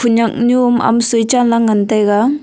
khenyak nyu omahm soi chanla ngan taiga.